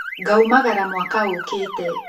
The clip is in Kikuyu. Ngaumagara mwaka ũkĩte.